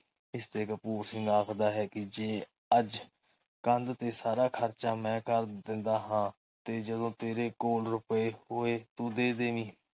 ਇਸਤੇ ਕਪੂਰ ਸਿੰਘ ਆਖਦਾ ਹੈ ਕਿ ਜੇ ਅੱਜ ਕੰਧ ਤੇ ਸਾਰਾ ਖਰਚਾ ਮੈਂ ਕਰ ਦਿੰਦਾ ਹਾਂ ਤੇ ਜਦੋ ਤੇਰੇ ਕੋਲ ਰੁਪਏ ਹੋਏ ਤੂੰ ਦੇ ਦੇਵੀ।